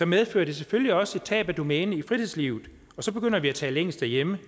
medfører det selvfølgelig også et tab af domæne i fritidslivet og så begynder vi at tale engelsk derhjemme